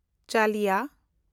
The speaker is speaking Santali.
ᱪᱟᱞᱤᱭᱟ